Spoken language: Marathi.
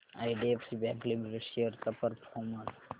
आयडीएफसी बँक लिमिटेड शेअर्स चा परफॉर्मन्स